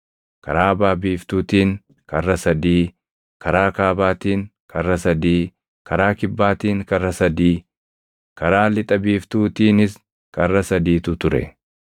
Karaa baʼa biiftuutiin karra sadii, karaa kaabaatiin karra sadii, karaa kibbaatiin karra sadii, karaa lixa biiftuutiinis karra sadiitu ture.